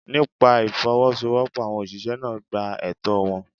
Nípa Ìfowọ́sowọ́pọ̀, àwọn ọ̀ṣìṣẹ́ náà gba ẹtọ́ọ wọn.